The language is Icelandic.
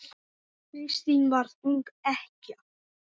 Kristín varð ung ekkja.